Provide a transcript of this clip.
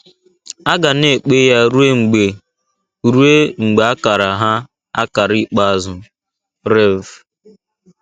A ga na - ekpe ya ruo mgbe ruo mgbe a kara ha akara ikpeazụ. — Rev.